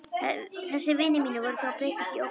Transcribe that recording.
Þessir vinir mínir voru þó að breytast í ógnun.